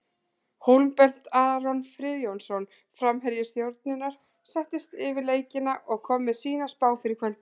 Hólmbert Aron Friðjónsson, framherji Stjörnunnar, settist yfir leikina og kom með sína spá fyrir kvöldið.